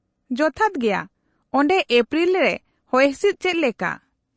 -ᱡᱚᱛᱷᱟᱛ ᱜᱮᱭᱟ ᱾ ᱚᱸᱰᱮ ᱮᱯᱨᱤᱞ ᱨᱮ ᱦᱚᱭᱦᱤᱸᱥᱤᱫ ᱪᱮᱫ ᱞᱮᱠᱟ ?